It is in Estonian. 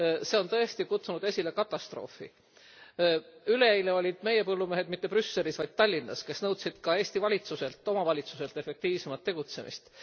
See on tõesti kutsunud esile katastroofi. Üleeile olid meie põllumehed mitte Brüsselis, vaid Tallinnas. Nad nõudsid ka Eesti valitsuselt ja omavalitsustelt efektiivsemat tegutsemist.